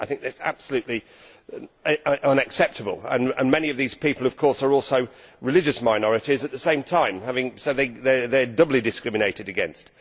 I think that is absolutely unacceptable and many of these people, of course, are also religious minorities at the same time, so they are doubly discriminated against.